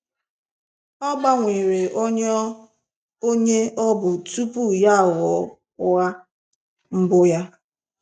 Ọ gbanwere onye onye ọ bụ tupu ya aghọọ ụgha mbụ ya.